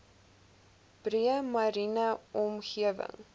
breë mariene omgewing